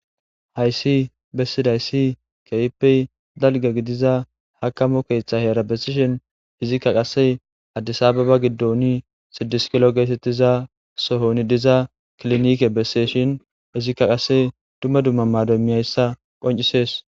Hayssi bessiday si kehppey dalga gidiza hakamo keeththa heerabessishin izikka qasse addisababa giddoni sidiskilo geetettiza sohoni diza klinike besseshin izikka qasse dumma dumma maadomiyayssa qoncisees